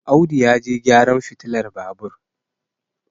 Audu ya je gyaran fitilar Babur